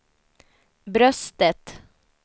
bröstet